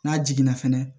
N'a jiginna fɛnɛ